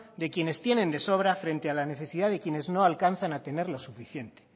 de quienes tienen de sobra frente a la necesidad de quienes no alcanzan a tener lo suficiente